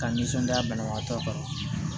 Ka nisɔndiya banabagatɔ kɔrɔ